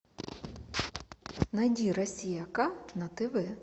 найди россия ка на тв